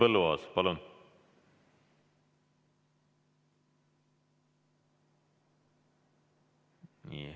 Henn Põlluaas, palun!